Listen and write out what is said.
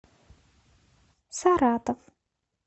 саратов